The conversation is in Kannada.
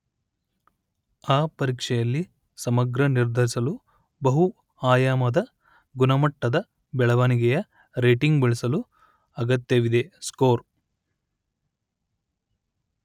ಆ ಪರೀಕ್ಷೆಯಲ್ಲಿ ಸಮಗ್ರ ನಿರ್ಧರಿಸಲು ಬಹು ಆಯಾಮದ ಗುಣಮಟ್ಟದ ಬೆಳವಣಿಗೆಯ ರೇಟಿಂಗ್ ಬಳಸಲು ಅಗತ್ಯವಿದೆ ಸ್ಕೋರ್